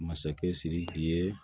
Masakɛ sidiki ye